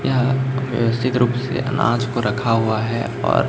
यह व्यवस्थित रूप से अनाज पर रखा हुआ है और--